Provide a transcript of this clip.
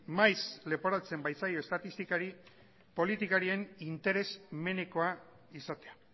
maiz leporatzen baitzaio estatistikari politikarien interesamenekoa izatea